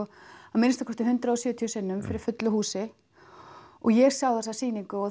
að minnsta kosti hundrað og sjötíu sinnum fyrir fullu húsi og ég sá þessa sýningu og